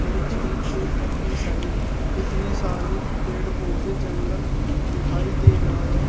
और झील के पतली साइड कितने सारे पेड़ पौधे जंगल दिखाई दे रहा है।